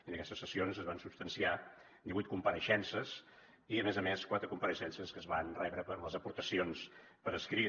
en aquestes sessions es van substanciar divuit compareixences i a més a més quatre compareixences que es van rebre per les aportacions per escrit